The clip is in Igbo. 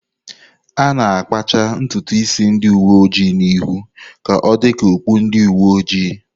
A na-akpacha ntutu isi ndị uwe ojii n'ihu ka ọ dị ka okpu ndi uwe ojii.